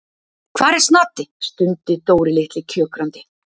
Hvar er Snati? stundi Dóri litli kjökrandi.